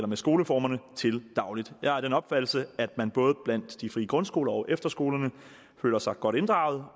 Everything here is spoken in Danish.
med skoleformerne til daglig jeg er af den opfattelse at man både blandt de frie grundskoler og efterskolerne føler sig godt inddraget